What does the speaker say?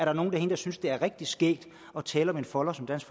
er nogle herinde der synes det er rigtig skægt at tale om en folder som dansk